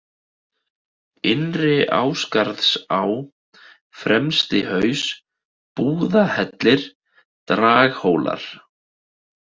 Innri-Ásgarðsá, Fremstihaus, Búðahellir, Draghólar